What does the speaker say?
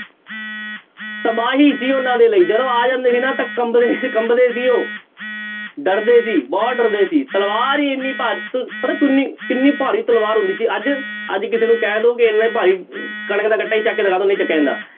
ਤਬਾਹੀ ਸੀ ਉਹਨਾਂ ਦੇ ਲਈ ਜਦੋਂ ਆ ਜਾਂਦੇ ਸੀ ਨਾ ਤਾਂ ਕੰਬਦੇ ਕੰਬਦੇ ਸੀ ਉਹ, ਡਰਦੇ ਸੀ ਬਹੁਤ ਡਰਦੇ ਸੀ ਤਲਵਾਰ ਹੀ ਇੰਨੀ ਪਤਾ ਕਿੰਨੀ ਕਿੰਨੀ ਭਾਰੀ ਤਲਵਾਰ ਹੁੰਦੀ ਸੀ ਅੱਜ ਅੱਜ ਕਿਸੇ ਨੂੰ ਕਹਿ ਦਓ ਕਿ ਇੰਨੇ ਭਾਈ ਚੁੱਕ ਕੇ ਦਿਖਾ ਦਿਓ ਨਹੀਂ ਚੁੱਕਿਆ ਜਾਂਦਾ।